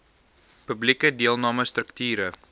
publieke deelname strukture